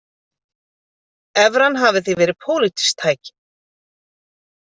Evran hafi því verið pólitískt tæki